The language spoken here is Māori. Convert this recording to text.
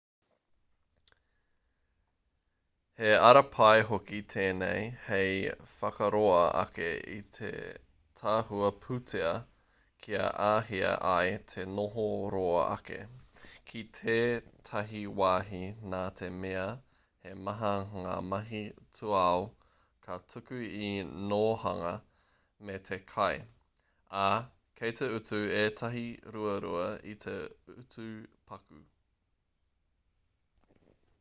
he ara pai hoki tēnei hei whakaroa ake i te tahua pūtea kia āhei ai te noho roa ake ki tētahi wāhi nā te mea he maha ngā mahi tūao ka tuku i te nōhanga me te kai ā kei te utu ētahi ruarua i te utu paku